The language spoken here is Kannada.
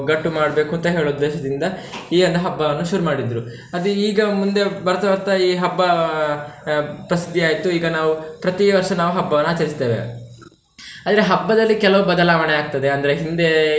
ಒಗ್ಗಟ್ಟು ಮಾಡ್ಬೇಕು ಅಂತ ಹೇಳುವ ಉದ್ದೇಶದಿಂದ, ಈ ಒಂದು ಹಬ್ಬವನ್ನು ಶುರು ಮಾಡಿದ್ರು. ಅದು ಈಗ ಮುಂದೆ ಬರ್ತಾ ಬರ್ತಾ ಈ ಹಬ್ಬ ಆಹ್ ಪ್ರಸಿದ್ಧಿಯಾಯ್ತು ಈಗ ನಾವು ಪ್ರತಿ ವರ್ಷ ನಾವು ಹಬ್ಬವನ್ನು ನಾವು ಆಚರಿಸ್ತೇವೆ. ಆದ್ರೆ ಹಬ್ಬದಲ್ಲಿ ಕೆಲವು ಬದಲಾವಣೆ ಆಗ್ತದೆ ಅಂದ್ರೆ ಹಿಂದೆ.